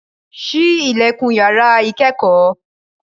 Ṣí ilẹ̀kùn yàrá ìkẹ́kọ̀ọ́